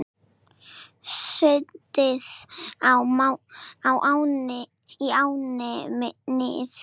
Sundið í ánni Nið